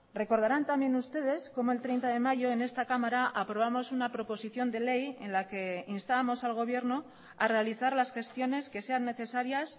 recordarán también ustedes como el treinta de mayo en esta cámara aprobamos una proposición de ley en la que instábamos al gobierno a realizar las gestiones que sean necesarias